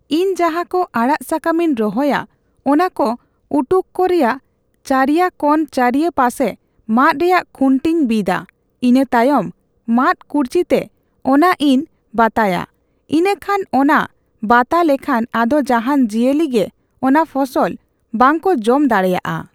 ᱤᱧ ᱡᱟᱦᱟ ᱠᱚ ᱟᱲᱟᱜ ᱥᱟᱠᱟᱢ ᱤᱧ ᱨᱚᱦᱚᱭᱟ ᱚᱱᱟ ᱠᱚ ᱩᱴᱩᱠᱚ ᱠᱚ ᱨᱮᱭᱟᱜ ᱪᱟᱹᱨᱭᱟᱹ ᱠᱚᱱ ᱪᱟᱹᱨᱤᱭᱟᱹ ᱯᱟᱥᱮ ᱢᱟᱛ ᱨᱮᱭᱟᱜ ᱠᱷᱩᱹᱴᱤ ᱤᱧ ᱵᱤᱫᱟ ᱤᱱᱟᱹ ᱛᱟᱭᱚᱢ ᱢᱟᱛ ᱠᱩᱲᱪᱤ ᱛᱮ ᱚᱱᱟ ᱤᱧ ᱵᱟᱛᱟᱭᱟ ᱤᱱᱟᱠᱷᱟᱱ ᱚᱱᱟ ᱵᱟᱛᱟ ᱞᱮᱠᱷᱟᱱ ᱟᱫᱚ ᱡᱟᱦᱟᱱ ᱡᱤᱭᱟᱹᱞᱤ ᱜᱤ ᱚᱱᱟ ᱯᱷᱚᱥᱚᱞ ᱵᱟᱝ ᱠᱚ ᱡᱚᱢ ᱫᱟᱲᱮᱭᱟᱜᱼᱟ